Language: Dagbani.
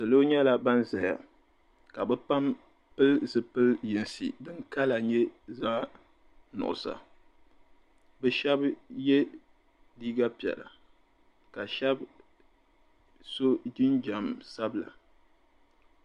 Salo nyɛla ban zaya ka be pam pili zipili yinsi din "colour" nyɛ zaɣ'nuɣiso be shɛba ye liiga piɛla ka shɛba so jinjam sabila.